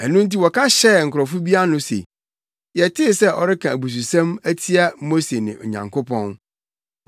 Ɛno nti wɔka hyɛɛ nkurɔfo bi ano se, “Yɛtee sɛ ɔreka abususɛm atia Mose ne Onyankopɔn.”